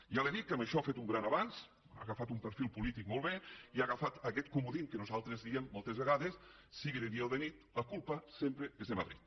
ja li he dit que en això ha fet un gran avanç ha agafat un perfil polític molt bé i ha agafat aquest comodí que nosaltres diem moltes vegades sigui de dia o de nit la culpa sempre és de madrid